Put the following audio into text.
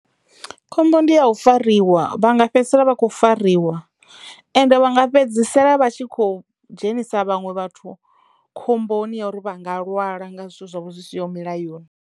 Khombo ndi ya u fariwa vha nga fhedzisela vha kho fariwa ende vha nga fhedzisela vha tshi kho dzhenisa vhaṅwe vhathu khomboni ya uri vha nga lwala nga zwithu zwavho zwi siho milayoni.